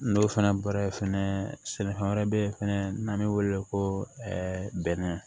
N'o fana bɔra yen fɛnɛ sɛnɛfɛn wɛrɛ be yen fɛnɛ n'an be wele ko ɛɛ bɛnɛ